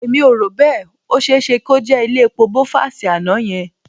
Èmi ò rò bẹ́ẹ̀. Ó ṣe é ṣe kó jẹ́ ilé epo Bovas àná yẹn